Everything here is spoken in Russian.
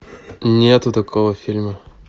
нету такого фильма